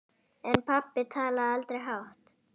En pabbi talaði aldrei hátt.